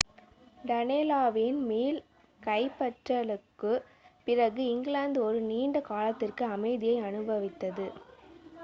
டனேலாவின் மீள் கைப்பற்றலுக்குப் பிறகு இங்கிலாந்து ஒரு நீண்ட காலத்திற்கு அமைதியை அனுபவித்தது